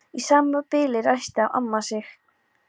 Í sama bili ræskti amma sig.